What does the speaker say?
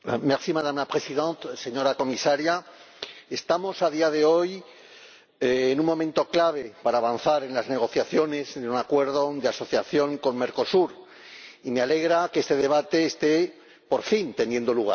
Señora Presidenta, señora Comisaria, estamos a día de hoy en un momento clave para avanzar en las negociaciones de un Acuerdo de Asociación con Mercosur y me alegra que este debate esté por fin teniendo lugar.